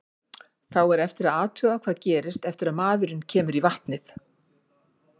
Þá er eftir að athuga hvað gerist eftir að maðurinn kemur í vatnið.